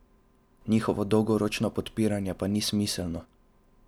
Njihovo dolgoročno podpiranje pa ni smiselno.